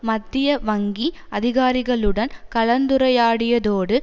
மத்திய வங்கி அதிகாரிகளுடன் கலந்துரையாடியதோடு